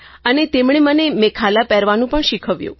અને તેમણે મને મેખાલા પહેરવાનું પણ શીખવ્યું